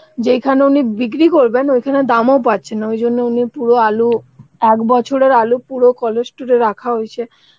এখানে উনি বিক্রি করবেন সেখানে দামও পাচ্ছেন না ওই জন্য উনি পুরো আলু ১ বছরের আলু পুরো রাখা হয়েছে